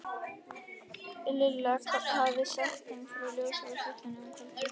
Lilla hafði sagt þeim frá ljósinu í fjallinu um kvöldið.